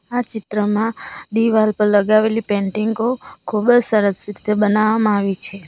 આ ચિત્રમાં દિવાલ પર લગાવેલી પેન્ટિંગો ખૂબ જ સરસ રીતે બનાવવામાં આવી છે.